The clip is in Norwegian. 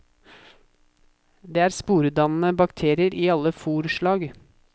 Det er sporedannende bakterier i alle fôrslag.